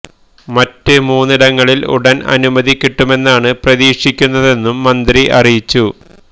മറ്റ് മൂന്നിടങ്ങളില് ഉടന് അനുമതി കിട്ടുമെന്നാണ് പ്രതീക്ഷിക്കുന്നതെന്നും മന്ത്രി അറിയിച്ചു